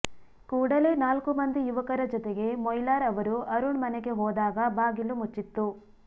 ಕೂಡಲೇ ನಾಲ್ಕು ಮಂದಿ ಯುವಕರ ಜತೆಗೆ ಮೊಯ್ಲಾರ್ ಅವರು ಅರುಣ್ ಮನೆಗೆ ಹೋದಾಗ ಬಾಗಿಲು ಮುಚ್ಚಿತ್ತು